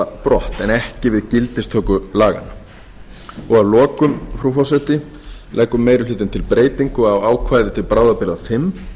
brott en ekki við gildistöku laganna að lokum frú forseti leggur meiri hlutinn til breytingu á ákvæði til bráðabirgða fimm